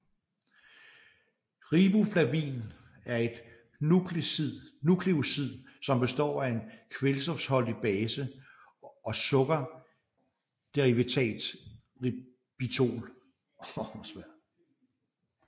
Riboflavin er et nukleosid som består af en kvælstofholdig base og sukkerderivatet ribitol